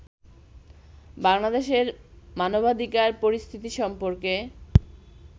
বাংলাদেশের মানবাধিকার পরিস্থিতি সম্পর্কে